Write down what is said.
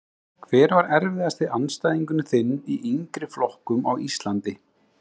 Hver var erfiðasti andstæðingurinn þinn í yngri flokkum á Íslandi?